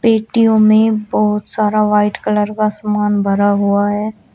मिट्टियों में बहुत सारा व्हाइट कलर का सामान भरा हुआ है।